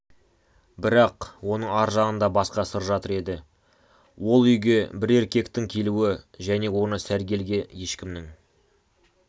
бірақ оның ар жағында басқа сыр жатыр еді ол үйге бір еркектің келуі және оны сәргелге ешкімнің